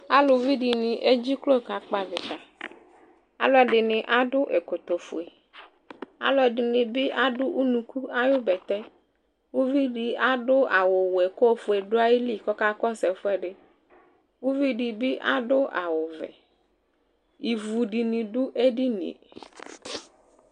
Aluvidɩnɩ edziklo kakpɔ avɩta : alʋɛdɩnɩ akɔ ɛkɔfue , alʋɛdɩnɩ bɩ adʋ unuku ayʋ bɛtɛ ; uvidɩ adʋ awʋwɛ k'ofue dʋ ayili k'ɔka kɔsʋ ɛfʋɛdɩ Uvidɩ bɩ adʋ awʋvɛ , ivudɩnɩ dʋ edinie